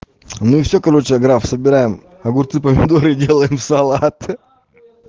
ну все короче граф собираем огурцы помидоры делаем салат